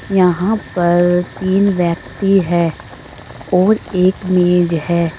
यहां पर तीन व्यक्ति हैं और एक मेज है।